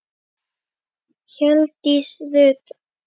Hjördís Rut: Af hverju?